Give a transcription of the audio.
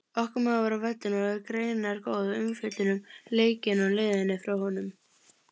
Okkar maður var á vellinum og er greinargóð umfjöllun um leikinn á leiðinni frá honum.